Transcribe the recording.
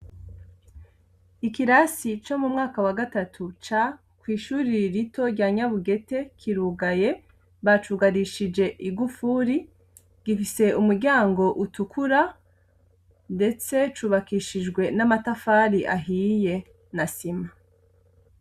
Ikirasi co mu mwaka wa gatatu c kw'ishuri rito rya nyabugete kirugaye , bacugarishije igufuri, gifise umuryango utukura ,ndetse cubakishijwe n' amatafari ahiye na sima.